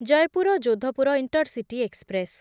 Jaipur Jodhpur intercity express